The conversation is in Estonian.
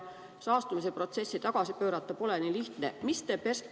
Saastumise protsessi tagasi pöörata pole nii lihtne.